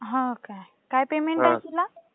हो काय? काय पेमेंट आहे तुला?